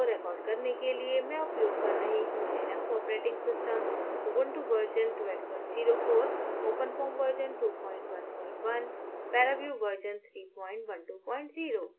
इस tutorial को record करने के लिए मैं उपयोग कर रही हूँ Linux operating system Ubuntu version 1204